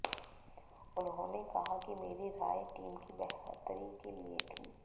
उन्होंने कहा कि मेरी राय टीम की बेहतरी के लिए थी